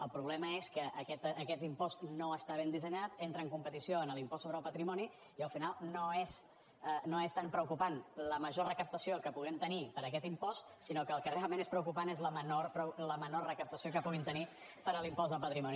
el problema és que aquest impost no està ben dissenyat entra en competició amb l’impost sobre el patrimoni i al final no és tan preocupant la major recaptació que puguem tenir per aquest impost sinó que el que realment és preocupant és la menor recaptació que puguin tenir per l’impost de patrimoni